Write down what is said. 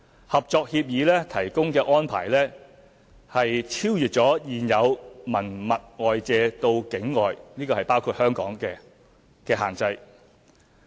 《合作協議》提供的安排超越了現有文物外借到境外的限制。